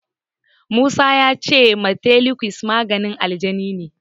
Musa ya ce mantelukas maganin alaji ne.